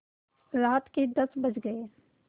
रात के दस बज गये